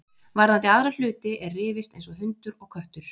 Varðandi aðra hluti er rifist eins og hundur og köttur.